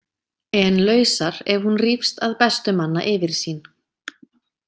En lausar ef hún rýfst að bestu manna yfirsýn.